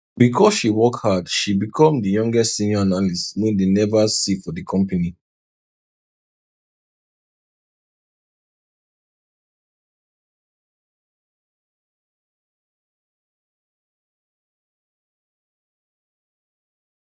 because she work hard she become di youngest senior analyst way dey never see for di company